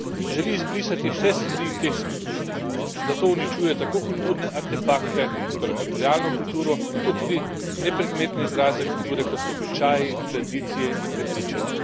Želi izbrisati vse sledi teh skupnosti, zato uničuje tako kulturne artefakte, torej materialno kulturo, kot tudi nepredmetne izraze kulture, kot so običaji, tradicije in prepričanja.